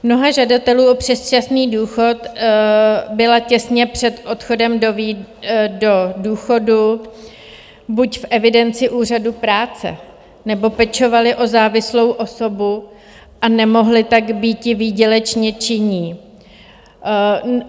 Mnoho žadatelů o předčasný důchod bylo těsně před odchodem do důchodu buď v evidenci Úřadu práce, nebo pečovali o závislou osobu a nemohli tak býti výdělečně činní.